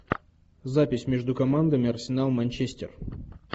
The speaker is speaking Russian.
запись между командами арсенал манчестер